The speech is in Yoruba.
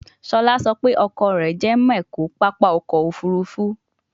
Shola so pe oko re je mecho papa oko ofurufu